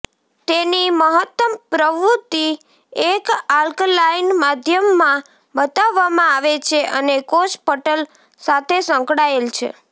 તેની મહત્તમ પ્રવૃત્તિ એક આલ્કલાઇન માધ્યમમાં બતાવવામાં આવે છે અને કોષ પટલ સાથે સંકળાયેલ છે